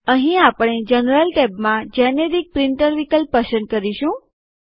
અહીં આપણે જનરલ ટૅબમાં જેનેરીક પ્રિન્ટર વિકલ્પ પસંદ કરીશું